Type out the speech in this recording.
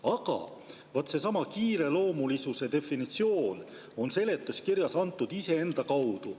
Aga vaat seesama kiireloomulisuse definitsioon on seletuskirjas antud iseenda kaudu.